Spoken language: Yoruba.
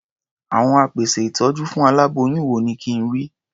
Àwọn apèsè ìtọ́jú fún aláboyún wo ni kí n rí?